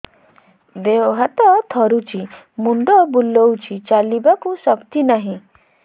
ଦେହ ହାତ ଥରୁଛି ମୁଣ୍ଡ ବୁଲଉଛି ଚାଲିବାକୁ ଶକ୍ତି ନାହିଁ